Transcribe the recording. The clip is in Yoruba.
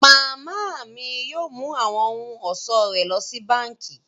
Mama mi yóò mú awọn ohun-ọṣọ rẹ lọ sí bánkì.